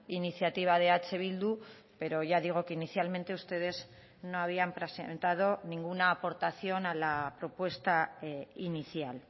iniciativa de eh bildu pero ya digo que inicialmente ustedes no habían presentado ninguna aportación a la propuesta inicial